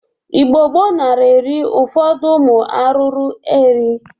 Igbo gboo nara eri ụfọdụ ụmụ arụrụ eri.